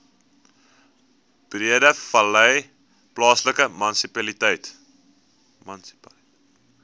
breedevallei plaaslike munisipaliteit